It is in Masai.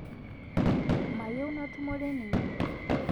Mayieu natumore ninye